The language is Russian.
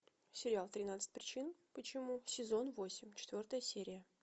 сериал тринадцать причин почему сезон восемь четвертая серия